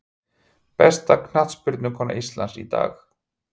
Besta knattspyrnukona Íslands í dag?